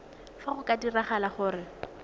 fa go ka diragala gore